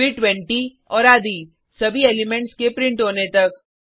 फिर 20 और आदि सभी एलिमेंट्स के प्रिंट होने तक